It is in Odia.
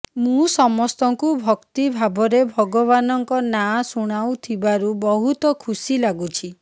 ମୁଁ ସମସ୍ତଙ୍କୁ ଭକ୍ତି ଭାବରେ ଭଗବାନଙ୍କ ନାଁ ଶୁଣାଉଥିବାରୁ ବହୁତ ଖୁସି ଲାଗୁଛି